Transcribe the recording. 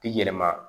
I yɛlɛma